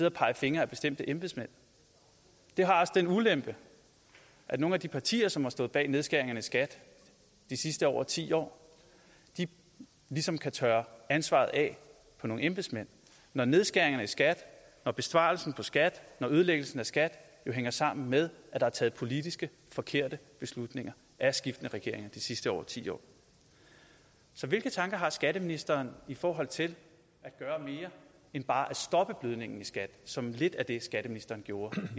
og pege fingre ad bestemte embedsmænd det har også den ulempe at nogle af de partier som har stået bag nedskæringerne i skat de sidste over ti år ligesom kan tørre ansvaret af på nogle embedsmænd når nedskæringerne i skat når besparelsen på skat og ødelæggelsen af skat jo hænger sammen med at der er taget politisk forkerte beslutninger af skiftende regeringer de sidste over ti år så hvilke tanker har skatteministeren i forhold til at gøre mere end bare at stoppe blødningen i skat som lidt er det skatteministeren gjorde